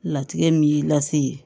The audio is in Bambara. Latigɛ min y'i lase yen